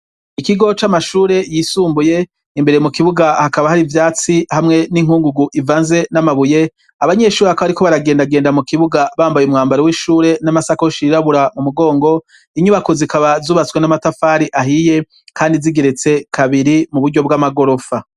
Ikigo c'amashure yisumbuye; imbere mu kibuga hakaba hari ivyatsi hamwe n'inkungugu ivanze n'amabuye. Abanyeshure bakaba bariko baragendagenda mu kibuga bambaye umwambaro w'ishure n'amasakosh yirabura mu mugongo. Inyubako zikaba zubatswe n'amatafari ahiye kandi zigeretse kabiri mu buryo bw'amagorofa.